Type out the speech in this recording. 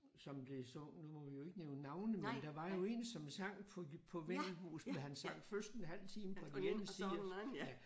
Som det så nu må vi jo ikke nævne navne men der var jo én som sang på på vendelbos da han sang først en halv time på den ene side af